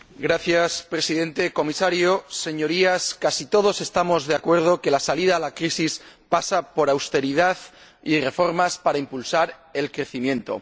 Señor Presidente, Comisario, Señorías, casi todos estamos de acuerdo en que la salida de la crisis pasa por austeridad y reformas para impulsar el crecimiento.